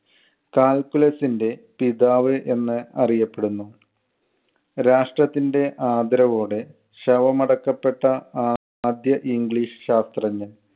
calculus ന്‍റെ പിതാവ് എന്ന് അറിയപ്പെടുന്നു. രാഷ്ട്രത്തിന്‍റെ ആദരവോടെ ശവമടക്കപ്പെട്ട ആദ്യ english ശാസ്ത്രജ്ഞൻ.